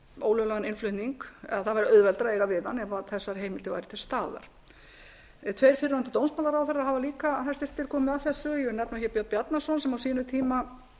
ólöglegan innflutning ef þessar heimildir væru til staðar tveir fyrrverandi hæstvirtur dómsmálaráðherrar hafa líka komið að þessu ég vil nefna björn bjarnason sem á sínum tíma